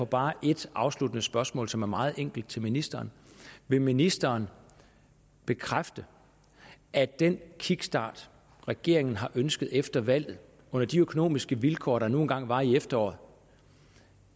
bare et afsluttende spørgsmål som er meget enkelt til ministeren vil ministeren bekræfte at den kickstart regeringen har ønsket efter valget under de økonomiske vilkår der nu engang var i efteråret